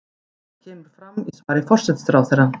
Þetta kemur fram í svari forsætisráðherra